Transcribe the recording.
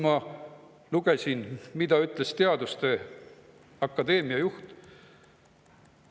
Ma lugesin, mida ütles teaduste akadeemia juht.